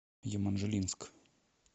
еманжелинск